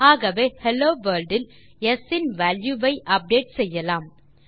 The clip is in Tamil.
ஆகவே ஹெல்லோ வர்ல்ட் ஆல் ஸ் இன் வால்யூ ஐ அப்டேட் செய்யலாம்